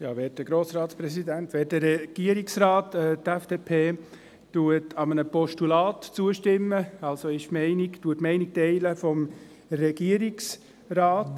Die FDP stimmt einem Postulat zu, teilt also die Meinung des Regierungsrats.